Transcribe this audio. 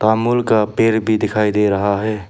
अमूल का पैर भी दिखाई दे रहा है।